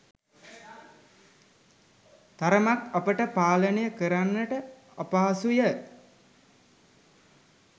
තරමක් අපට පාලනය කරන්නට අපහසුය.